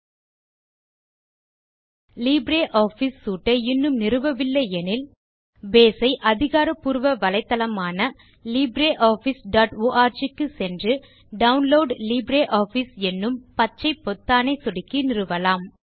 நீங்கள் LibreOffice suite ஐ இன்னும் நிறுவவில்லை எனில் பேஸ் ஐ அதிகாரபூர்வ வலைத்தளமான httpwwwlibreofficeorg க்கு சென்று டவுன்லோட் லிப்ரியாஃபிஸ் என்னும் பச்சை பொத்தானை சொடுக்கி நிறுவலாம்